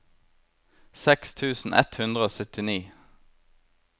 seks tusen ett hundre og syttini